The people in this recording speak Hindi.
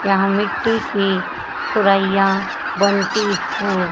यहां मिट्टी की सुरईयां बनती हैं।